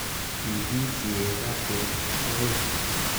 Kibiit sireet ab kei akoi